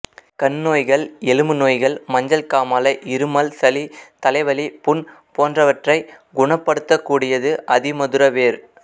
கண் நோய்கள் எலும்பு நோய்கள் மஞ்சள் காமாலை இருமல் சளி தலைவலி புண் போன்றவற்றைக் குணப்படுத்தக்கூடியது அதிமதுர வேர்